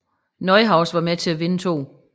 Neuhaus var med til at vinde 2